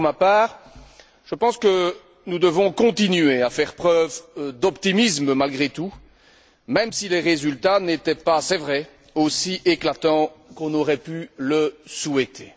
Pour ma part, je pense que nous devons continuer à faire preuve d'optimisme malgré tout, même si les résultats n'étaient pas, il est vrai, aussi éclatants qu'on aurait pu le souhaiter.